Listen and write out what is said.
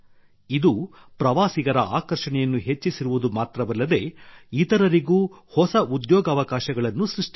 ಇದು ಪ್ರವಾಸಿಗರ ಆಕರ್ಷಣೆಯನ್ನು ಹೆಚ್ಚಿಸಿರುವುದು ಮಾತ್ರವಲ್ಲದೆ ಇತರರಿಗೂ ಹೊಸ ಉದ್ಯೋಗಾವಕಾಶಗಳನ್ನು ಸೃಷ್ಟಿಸಿದೆ